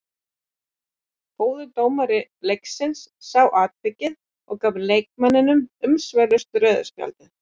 Góður dómari leiksins sá atvikið og gaf leikmanninum umsvifalaust rauða spjaldið.